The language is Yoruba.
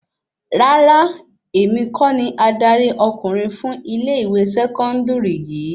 Rárá, èmi kọ́ ni adarí ọkùnrin fún ilẹ ìwé sẹkọndiri yìí